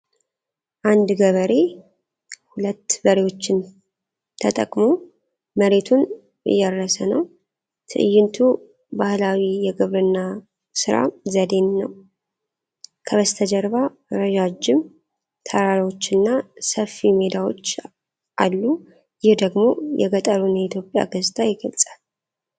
አንድ ገበሬ ሁለት በሬዎችን ተጠቅሞ መሬቱን እያረሰ ነው ። ትዕይንቱ ባህላዊ የግብርና ሥራ ዘዴን ነው ። ከበስተጀርባ ረዣዥም ተራራዎችና ሰፊ ሜዳዎች አሉ ። ይህ ደግሞ የገጠሩን የኢትዮጵያ ገጽታ ይገልጻል።